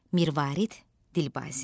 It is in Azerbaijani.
Mirvarid Dilbazi.